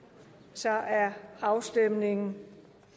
så er afstemningen